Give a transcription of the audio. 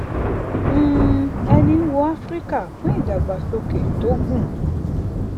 um eni ń wo áfíríkà fún ìdàgbàsókè tó gùn